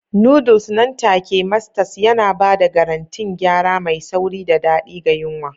Noodles nan take Masters yana ba da garantin gyara mai sauri da daɗi ga yunwa.